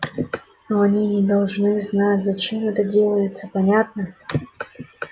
но они не должны знать зачем это делается понятно